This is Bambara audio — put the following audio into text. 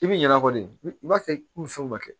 I b'i ɲinɛ kɔ de i b'a kɛ ni fɛnw ma kɛ